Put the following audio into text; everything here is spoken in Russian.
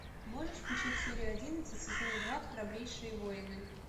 можешь включить серию одиннадцать сезона два храбрейшие воины